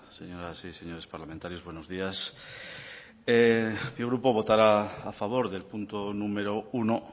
señoras y señores parlamentarios buenos días mi grupo votará a favor del punto número uno